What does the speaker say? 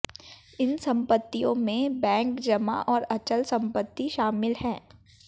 इन संपत्तियों में बैंक जमा और अचल सम्पत्ति शामिल है